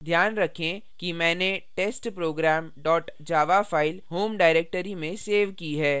ध्यान रखें कि मैंने testprogram dot java file home directory में सेव की है